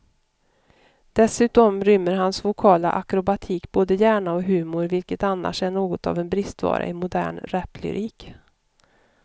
Dessutom rymmer hans vokala akrobatik både hjärna och humor, vilket annars är något av en bristvara i modern raplyrik.